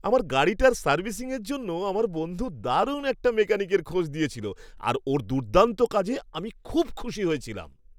আমার গাড়িটার সার্ভিসিংয়ের জন্য আমার বন্ধু দারুণ একটা মেকানিকের খোঁজ দিয়েছিল আর ওর দুর্দান্ত কাজে আমি খুব খুশি হয়েছিলাম।